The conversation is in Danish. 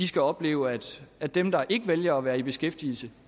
skal opleve at at dem der ikke vælger at være i beskæftigelse